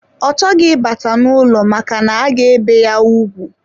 Ọ chọghị ịbata n'ụlọ maka na-aga bee ya ugwu.